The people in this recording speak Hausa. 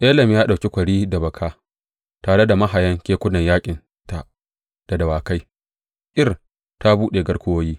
Elam ya ɗauki kwari da baka, tare da mahayan kekunan yaƙinta da dawakai; Kir ta buɗe garkuwoyi.